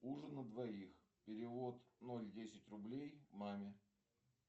ужин на двоих перевод ноль десять рублей маме